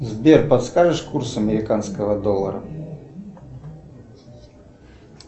сбер подскажешь курс американского доллара